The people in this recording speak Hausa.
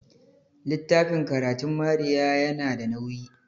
littafin karatun Maria yana da nauyi